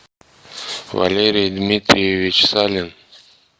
валерий дмитриевич салин